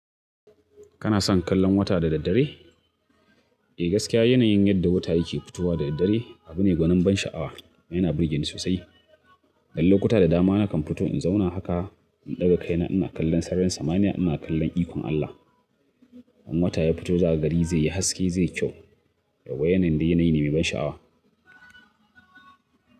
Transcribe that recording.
Kana son kallon wata da daddare? Eh, gaskiya yanayin yadda wata yake fitowa da daddare abu ne gonin ban sha'awa. Yana burge ni sosai. Dan lokuta da dama na kan fito in zauna haka, in ɗaga kaina ina kallon sarrarin samaniya ina kallon ikon Allah. In wata ya fito zaka ga gari zai yi haske zai yi kyau. Da ga wanan dai yanayi ne mai ban sha'awa.